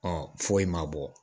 Ɔ foyi ma bɔ